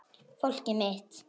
Fólkið mitt.